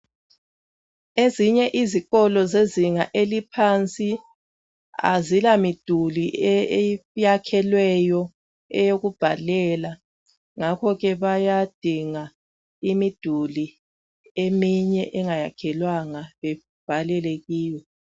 Ezinye izikolo zezinga eliphansi azilamiduli eyakhelweyo eyokubhalela ngakho ke bayadinga imiduli eminye engayakhelwanga bebhalele yiwo.